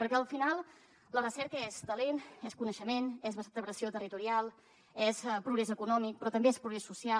perquè al final la recerca és talent és coneixement és vertebració territorial és progrés econòmic però també és progrés social